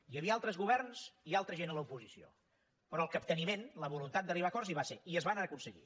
hi havia altres governs i altra gent a l’oposició però el capteniment la voluntat d’arribar a acords hi va ser i es van aconseguir